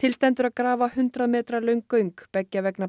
til stendur að grafa hundrað metra löng göng beggja vegna